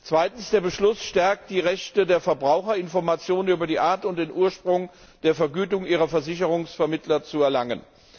Zweitens stärkt der Beschluss die Rechte der Verbraucher, Informationen über die Art und den Ursprung der Vergütung ihrer Versicherungsvermittler zu erlangen.